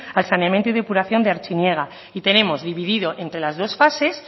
al saneamiento y depuración de artziniega y tenemos dividido entre las dos fases